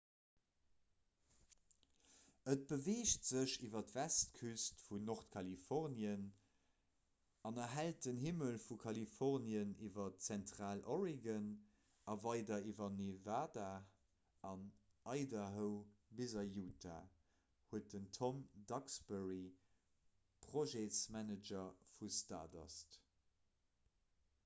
'et beweegt sech iwwer d'westküst vun nordkalifornien an erhellt den himmel vu kalifornien iwwer zentraloregon a weider iwwer nevada an idaho bis a utah' huet den tom duxbury projetsmanager vu stardust